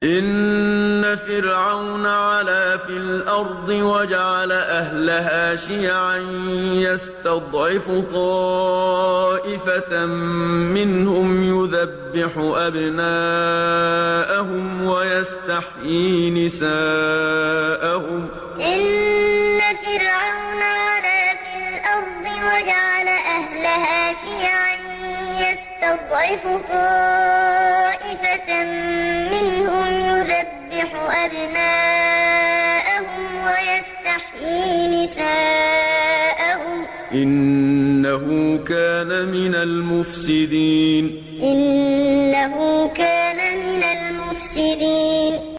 إِنَّ فِرْعَوْنَ عَلَا فِي الْأَرْضِ وَجَعَلَ أَهْلَهَا شِيَعًا يَسْتَضْعِفُ طَائِفَةً مِّنْهُمْ يُذَبِّحُ أَبْنَاءَهُمْ وَيَسْتَحْيِي نِسَاءَهُمْ ۚ إِنَّهُ كَانَ مِنَ الْمُفْسِدِينَ إِنَّ فِرْعَوْنَ عَلَا فِي الْأَرْضِ وَجَعَلَ أَهْلَهَا شِيَعًا يَسْتَضْعِفُ طَائِفَةً مِّنْهُمْ يُذَبِّحُ أَبْنَاءَهُمْ وَيَسْتَحْيِي نِسَاءَهُمْ ۚ إِنَّهُ كَانَ مِنَ الْمُفْسِدِينَ